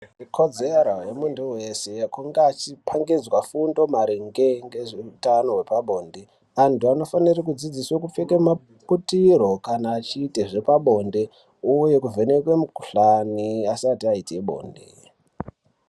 Ikodzero ye muntu wese yekunge achi pangidzwa fundo maringe ngezve utano hwepa bonde antu anofanirwe kudzidziswe kupfeke maputiro kana echiite zvepa bonde uye kuvhenekwe mu kuhlani asati aite bonde.